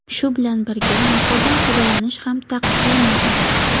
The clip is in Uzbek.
Shu bilan birga, muhrdan foydalanish ham taqiqlanmagan.